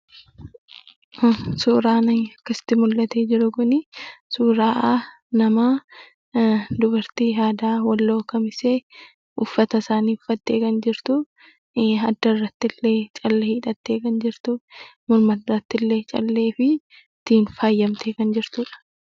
Suuraan akkasitti mul'ate jiru kun, suuraa namaa dubartii aadaa walloo kamisee, uffata isaanii uffattee kan jirtu, haddarrattillee callee hidhattee kan jirtu, mataattillee callee fi faayyamtee kan jirtuudha.